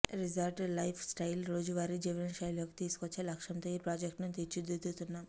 resort life స్టయిల్ను రోజువారీ జీవనశైలిలోకి తీసుకొచ్చే లక్ష్యంతో ఈ ప్రాజెక్ట్ను తీర్చిదిద్దుతున్నాం